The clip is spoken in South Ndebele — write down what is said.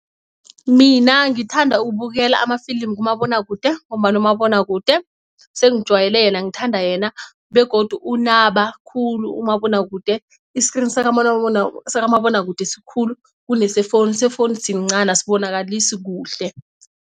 Mina ngithanda ukubukela amafilimu kumabonwakude ngombana umabonwakude sengijwayele yena ngithanda yena begodu unaba khulu umabonwakude. I-screen sakamabonwakude sikhulu kunese-phone, se-phone sincani asibonakalisi kuhle.